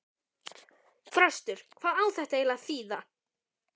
Þröstur, hvað á þetta eiginlega að þýða?!